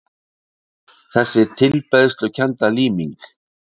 Þessi tilbeiðslukennda líming